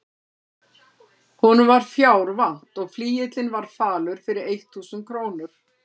Honum var fjár vant og flygillinn var falur fyrir eitt þúsund krónur.